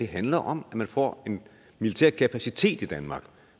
handler om at man får en militær kapacitet i danmark